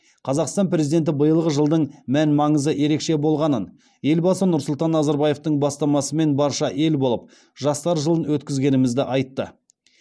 қазақстан президенті биылғы жылдың мән маңызы ерекше болғанын елбасы нұрсұлтан назарбаевтың бастамасымен барша ел болып жастар жылын өткізгенімізді айтты